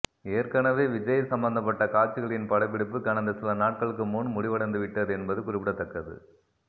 ஏற்கனவே விஜய் சம்பந்தப்பட்ட காட்சிகளின் படப்பிடிப்பு கடந்த சில நாட்களுக்கு முன் முடிவடைந்துவிட்டது என்பது குறிப்பிடத்தக்க்கது